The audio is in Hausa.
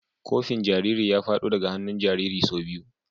Kofin jariri ya fado daga hannun jaririn sau biyu.